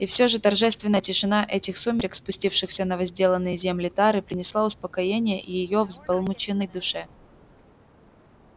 и всё же торжественная тишина этих сумерек спустившихся на возделанные земли тары принесла успокоение её взбаламученной душе